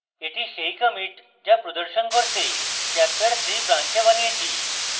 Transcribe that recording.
এটি সেই commit যা প্রদর্শন করতে chapterthree branch বানিয়েছি